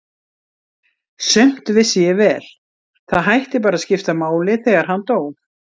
Sumt vissi ég vel, það hætti bara að skipta máli þegar hann dó.